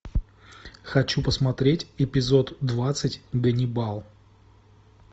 хочу посмотреть эпизод двадцать ганнибал